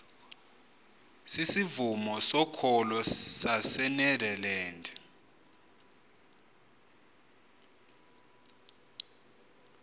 sisivumo sokholo sasenederland